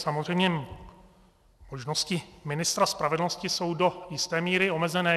Samozřejmě, možnosti ministra spravedlnosti jsou do jisté míry omezené.